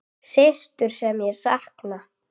Systur sem ég sakna.